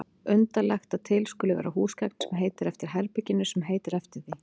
Undarlegt að til skuli vera húsgagn sem heitir eftir herberginu sem heitir eftir því.